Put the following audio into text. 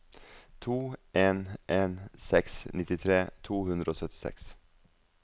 to en en seks nittitre to hundre og syttiseks